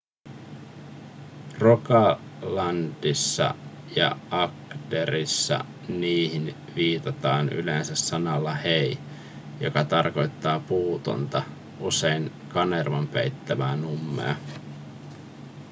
rogalandissa ja agderissa niihin viitataan yleensä sanalla hei joka tarkoittaa puutonta usein kanervan peittämää nummea